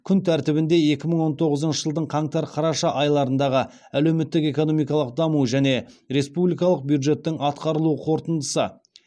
күн тәртібінде екі мың он тоғызыншы жылдың қаңтар қараша айларындағы әлеуметтік экономикалық даму және республикалық бюджеттің атқарылу қорытындысы